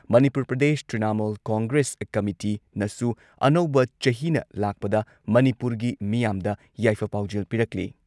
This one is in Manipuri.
ꯃꯅꯤꯄꯨꯔ ꯄ꯭ꯔꯗꯦꯁ ꯇ꯭ꯔꯤꯅꯥꯃꯣꯜ ꯀꯣꯡꯒ꯭ꯔꯦꯁ ꯀꯃꯤꯇꯤꯅꯁꯨ ꯑꯅꯧꯕ ꯆꯍꯤꯅ ꯂꯥꯛꯄꯗ ꯃꯅꯤꯄꯨꯔꯒꯤ ꯃꯤꯌꯥꯝꯗ ꯌꯥꯏꯐ ꯄꯥꯎꯖꯦꯜ ꯄꯤꯔꯛꯂꯤ꯫